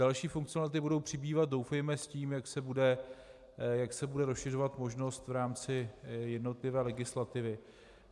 Další funkcionality budou přibývat doufejme s tím, jak se bude rozšiřovat možnost v rámci jednotlivé legislativy.